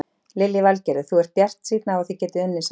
Lillý Valgerður: Þú ert bjartsýnn á þið getið unnið saman?